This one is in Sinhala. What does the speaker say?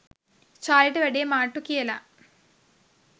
චාලිට වැඩේ මාට්ටු කියලා.